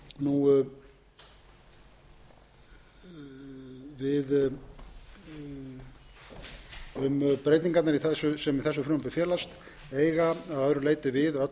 bókum um breytingarnar sem í þessu frumvarpi felast eiga að öðru leyti við öll sömu